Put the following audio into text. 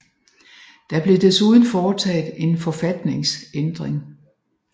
Der blev desuden foretaget en forfatningsændring